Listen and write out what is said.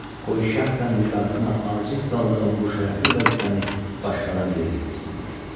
Qoy şəxsən icrasına aciz qaldığım bu şərəfli vəzifəni başqaları yerinə yetirsinlər.